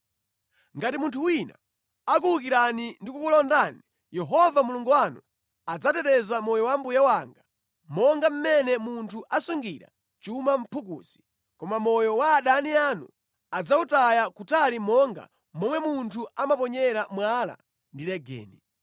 Ngati munthu wina akuwukirani ndi kukulondani, Yehova Mulungu wanu adzateteza moyo wa mbuye wanga monga mmene munthu asungira chuma mʼphukusi, koma moyo wa adani anu adzawutaya kutali monga momwe munthu amaponyera mwala ndi legeni.